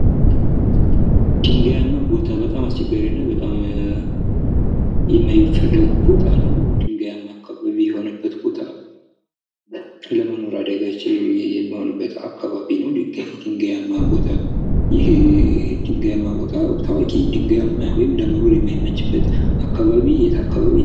ድንጋያማ ቦታ በጣም አስቸጋሪና በጣም የማይፈልጉት ቦታ ነው። ግንጋያማ አካባቢ የሆነበት ቦታ ለመኖር አዳጋች የሚሆንበት አካባቢ ነው። ድንጋያማ ቦታ ይህ ድንጋያማ ቦታ ታዋቂ ድንጋያማ ወይም ለመኖር የማይመችበት አካባቢ የት አካባቢ